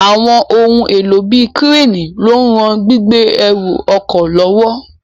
Àwọn ohun èlò bíi kírénì ló ń ran gbígbé ẹrù ọkọ̀ lọ́wọ́